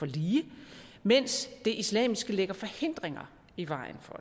lige mens det islamiske lægger forhindringer i vejen for